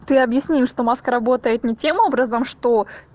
ты объясни что маска работает на тему образом что